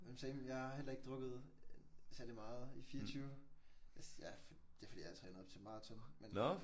Men same. Jeg har heller ikke drukket særligt meget i 24. Det er fordi jeg træner op til maraton men